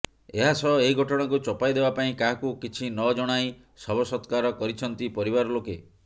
ଏହାସହ ଏହି ଘଟଣାକୁ ଚପାଇ ଦେବା ପାଇଁ କାହାକୁ କିଛିନ ଜଣାଇ ଶବ ସତ୍କାର କରିଛନ୍ତି ପରିବାର ଲୋକେ